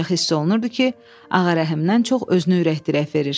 Ancaq hiss olunurdu ki, Ağarəhimdən çox özünü ürəklidirək verir.